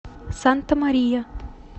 санта мария